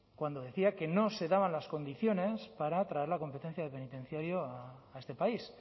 cuando decía que no se daban las condiciones para traer la competencia de penitenciario a este país